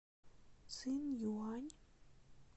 цинъюань